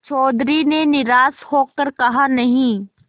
चौधरी ने निराश हो कर कहानहीं